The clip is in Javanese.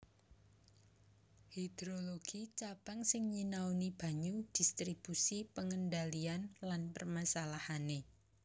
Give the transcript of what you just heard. Hidrologi Cabang sing nyinaoni banyu distribusi pengendalian lan permasalahané